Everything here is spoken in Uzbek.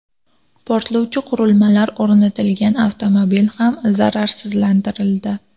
Portlovchi qurilmalar o‘rnatilgan avtomobil ham zararsizlantirildi.